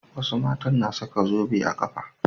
Wasu matan na saka zobe a ƙafa.